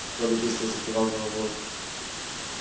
робби быстро закивал головой